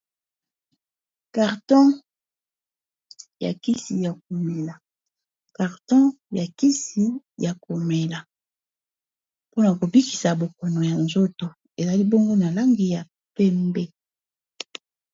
Carton ya kisi ya komela mpona kobikisa bokono ya nzoto ezali bongo na langi ya pembe.